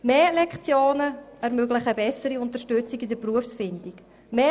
Mehr Lektionen ermöglichen eine bessere Unterstützung bei der Berufswahl.